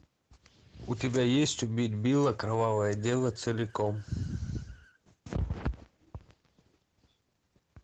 у тебя есть убить билла кровавое дело целиком